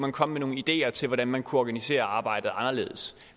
og komme med nogle ideer til hvordan man kunne organisere arbejdet anderledes